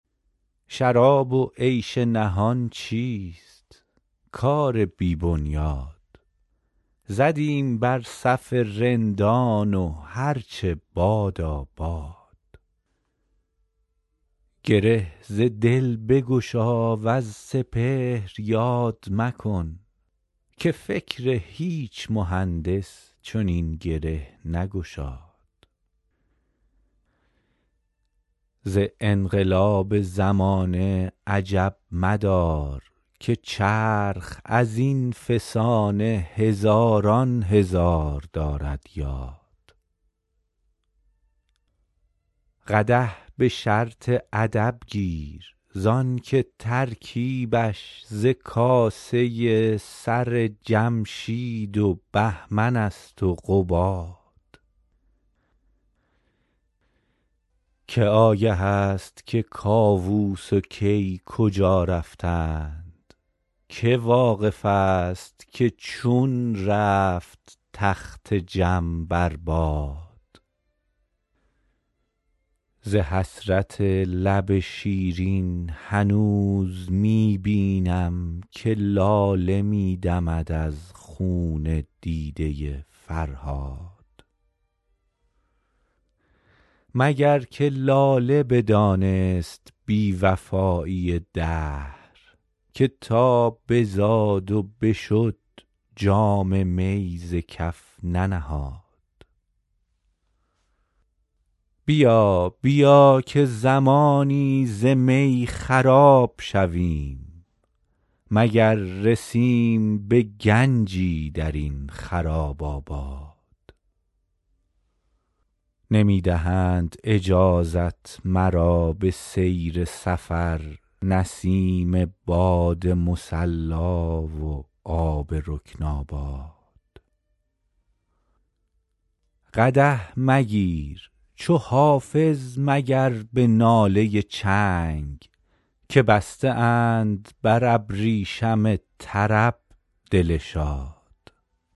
شراب و عیش نهان چیست کار بی بنیاد زدیم بر صف رندان و هر چه بادا باد گره ز دل بگشا وز سپهر یاد مکن که فکر هیچ مهندس چنین گره نگشاد ز انقلاب زمانه عجب مدار که چرخ از این فسانه هزاران هزار دارد یاد قدح به شرط ادب گیر زان که ترکیبش ز کاسه سر جمشید و بهمن است و قباد که آگه است که کاووس و کی کجا رفتند که واقف است که چون رفت تخت جم بر باد ز حسرت لب شیرین هنوز می بینم که لاله می دمد از خون دیده فرهاد مگر که لاله بدانست بی وفایی دهر که تا بزاد و بشد جام می ز کف ننهاد بیا بیا که زمانی ز می خراب شویم مگر رسیم به گنجی در این خراب آباد نمی دهند اجازت مرا به سیر سفر نسیم باد مصلا و آب رکن آباد قدح مگیر چو حافظ مگر به ناله چنگ که بسته اند بر ابریشم طرب دل شاد